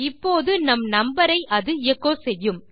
இப்போது நம் நம்பர் ஐ அது எச்சோ செய்யும்